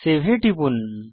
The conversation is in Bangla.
সেভ এ টিপুন